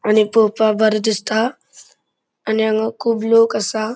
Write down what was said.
आणि पोवपाक बरे दिसता आणि हांगा खूब लोक असा.